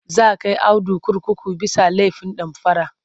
Za kai Audu kurkuku bisa laifin damfara..